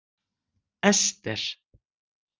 Ester